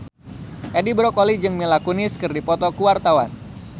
Edi Brokoli jeung Mila Kunis keur dipoto ku wartawan